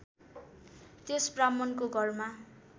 त्यस ब्राह्मणको घरमा